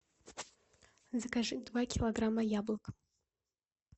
закажи два килограмма яблок